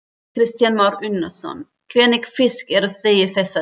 Kristján Már Unnarsson: Hvernig fisk eruð þið í þessa dagana?